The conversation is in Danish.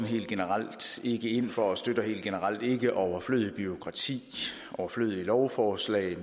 helt generelt ikke ind for og støtter helt generelt ikke overflødigt bureaukrati overflødige lovforslag